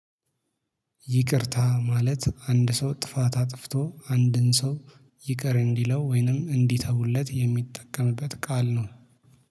ይቅርታ ማለት አንድ ሰው ጥፋት አጥፍቶ አንድን ሰው ይቅር እንዲለው ወይንም እንዲተውለት የሚጠቀምበት ቃል ነው